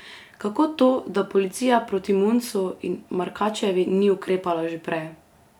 Kako to, da policija proti Muncu in Markačevi ni ukrepala že prej?